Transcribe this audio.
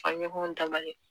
ka ɲɔgɔn dabali